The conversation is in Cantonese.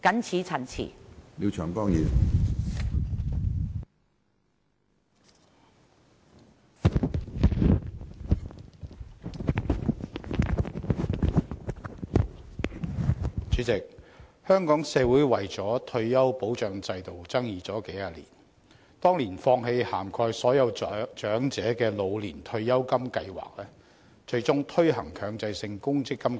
主席，香港社會為了退休保障制度爭議了數十年，當年放棄涵蓋所有長者的老年退休金計劃，最終推行了強制性公積金計劃。